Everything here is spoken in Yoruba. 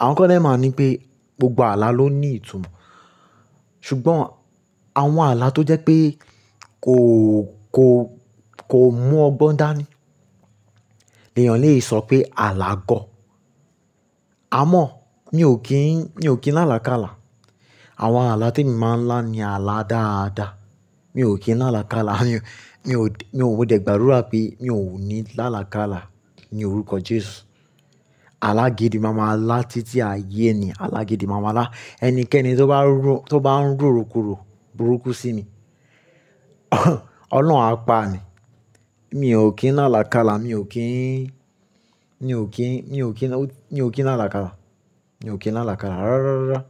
Àwọn kan dè máa n nipé gbogbo àlà ló ní ìtumọ̀. Ṣùgbọ́n àwọn àlà tó jẹ́ pé kò, kò, kò mú ọgbọ́n dáa ni èèyàn lè sọ pé àlà gọ̀. Àmọ́ mi ò kín, mi ò kín lá àlàkálà. Àwọn àlà tí emi máa ń lá ni àlà dáadáa. Mi ò kín lá àlàkálà, mi ò, mi ò de, mo de gbàdúra pé mi ò ní lá àlàkálà ní orúkọ Jésù. Alá gídí maa ma lá títí ayé ni, Alágídí maa ma lá. Ẹnikẹ́ni tó bá ro, tó bá ń roro kúrò burúkú sí mi, Ọlọ́run á pa ni. Mi ò kín lá àlàkálà, mi ò kín, mi ò kín, mi ò kín, mi ò kín lá àlàkálà. Mi ò kín lá àlàkálà rárárárá.